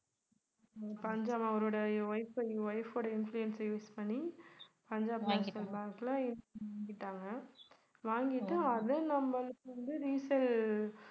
பஞ்சாப் அவருடைய wife~ wife உடைய influence அ use பண்ணி பஞ்சாப் நேஷ்னல் பேங்க்ல வாங்கிட்டாங்க வாங்கிட்டு அத நம்மளுக்கு வந்து resale